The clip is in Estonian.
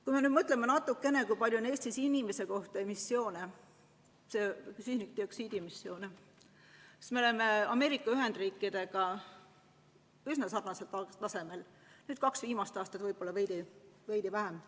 Kui me mõtleme natukene, kui suur on Eestis süsinikdioksiidi emissioon inimese kohta, siis me oleme Ameerika Ühendriikidega üsna sarnasel tasemel, kaks viimast aastat võib-olla veidi allpool.